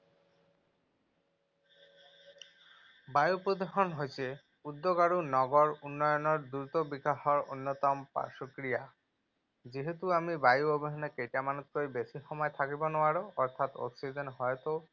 বায়ু প্ৰদূষণ হৈছে উদ্যোগ আৰু নগৰ উন্নয়নৰ দ্ৰুত বিকাশৰ অন্যতম পাৰ্শ্বক্ৰিয়া। যিহেতু আমি বায়ু অবিহনে কেইটামানতকৈ বেছি সময় থাকিব নোৱাৰো অৰ্থাৎ অক্সিজেন হয়তো